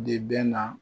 De bɛ na